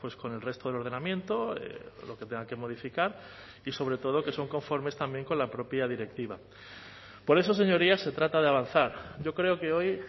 con el resto del ordenamiento lo que tenga que modificar y sobre todo que son conformes también con la propia directiva por eso señorías se trata de avanzar yo creo que hoy